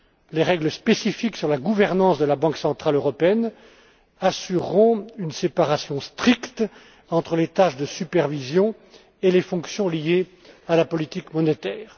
Les règles spécifiques sur la gouvernance de la Banque centrale européenne assureront une séparation stricte entre les tâches de supervision et les fonctions liées à la politique monétaire.